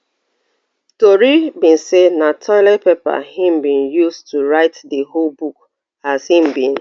tori be say na toilet paper im bin use to write di whole book as im bin